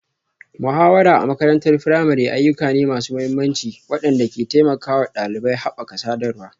Muhawara a makarantar firamare ayyuka ne masu mahimmanci waɗanda ke taimakawa ɗalibai haɓaka sadarwa,